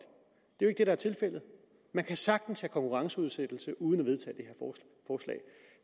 det er det er tilfældet man kan sagtens have konkurrenceudsættelse uden